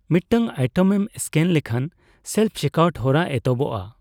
ᱢᱤᱫᱴᱟᱝ ᱟᱭᱴᱮᱢ ᱮᱢ ᱤᱥᱠᱮᱱ ᱞᱮᱠᱷᱟᱱ ᱥᱮᱞᱯᱷᱼᱪᱮᱠᱟᱩᱴ ᱦᱚᱨᱟ ᱮᱛᱚᱦᱚᱵᱜᱼᱟ ᱾